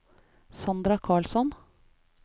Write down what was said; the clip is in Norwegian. Sandra Karlsson